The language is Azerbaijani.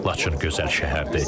Laçın gözəl şəhərdir.